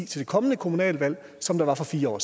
til det kommende kommunalvalg som der var for fire år